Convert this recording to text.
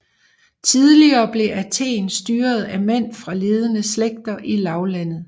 Tidligere blev Athen styret af mænd fra ledende slægter i lavlandet